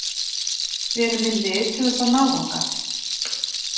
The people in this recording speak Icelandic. Við erum með lið til þess að ná þangað.